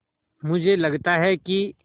मुझे लगता है कि